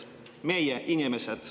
Meie inimesi.